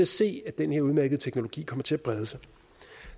se at den her udmærkede teknologi kommer til at brede sig